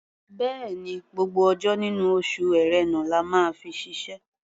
Bẹ́ẹ̀ni, gbogbo ọjọ́ nínú oṣù Ẹ̀rẹnà la máa fi ṣiṣẹ́.